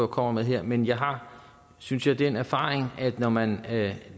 kommer med her men jeg har synes jeg den erfaring at når man